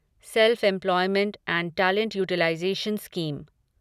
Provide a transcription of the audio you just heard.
self employment and talent utilisation scheme